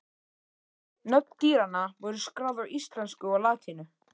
Nöfn dýranna voru skráð á íslensku og latínu.